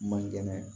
Man kɛnɛ